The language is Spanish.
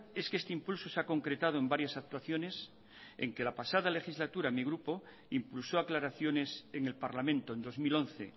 es que este impulso se ha concretado en varias actuaciones en que la pasada legislatura mi grupo impulsó aclaraciones en el parlamento en dos mil once